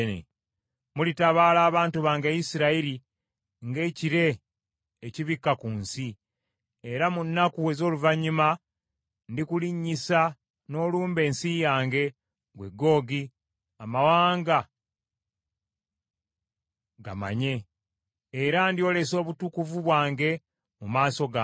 Mulitabaala abantu bange Isirayiri ng’ekire ekibikka ku nsi. Era mu nnaku ez’oluvannyuma ndikulinnyisa n’olumba ensi yange, ggwe Googi, amawanga gamanye. Era ndyolesa obutukuvu bwange mu maaso gaabwe.